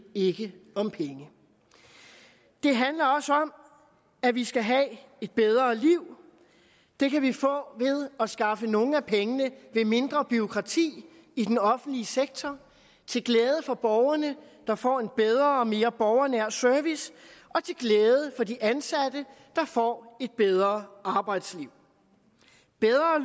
ikke om penge det handler også om at vi skal have et bedre liv det kan vi få ved at skaffe nogle af pengene ved mindre bureaukrati i den offentlige sektor til glæde for borgerne der får en bedre og mere borgernær service og til glæde for de ansatte der får et bedre arbejdsliv bedre